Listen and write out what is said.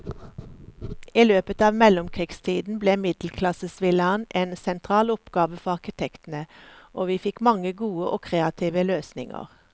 I løpet av mellomkrigstiden ble middelklassevillaen en sentral oppgave for arkitektene, og vi fikk mange gode og kreative løsninger.